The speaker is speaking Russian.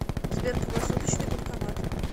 сбер круглосуточный банкомат